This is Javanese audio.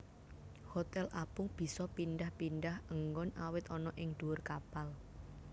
Hotel apung bisa pindhah pindhah enggon awit ana ing ndhuwur kapal